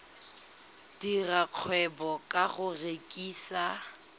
dira kgwebo ka go rekisa